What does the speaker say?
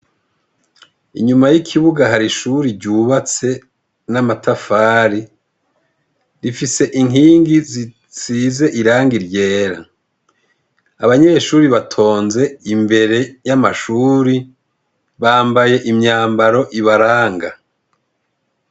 Inyuma y'ikibuga hari ishuri ryubatse n'amatafari rifise inkingi zisize irangi iryera abanyeshuri batonze imbere y'amashuri bambaye imyambaro ibaranga.